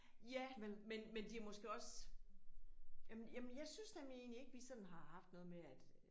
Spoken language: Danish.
Ja men men men det er måske også. Jamen jamen jeg synes nemlig egentlig ikke vi sådan har haft noget med at